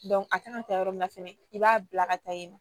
a kan ka taa yɔrɔ min na fɛnɛ i b'a bila ka taa yen nɔ